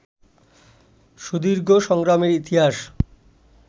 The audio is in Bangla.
সুদীর্ঘ সংগ্রামের ইতিহাস